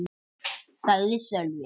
sagði Sölvi.